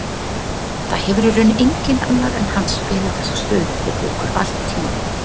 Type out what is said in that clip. Það hefur í raun enginn annar en hann spilað þessa stöðu fyrir okkur allt tímabilið.